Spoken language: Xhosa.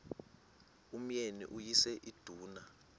umyeni uyise iduna